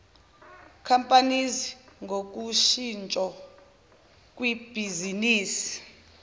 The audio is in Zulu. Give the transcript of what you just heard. companies ngoshintsho kwibhizinisi